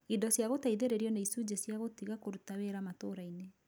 Indo cia gũteithĩrĩrio ni icujĩ cia gũtiga kũruta wĩra matũrainĩ.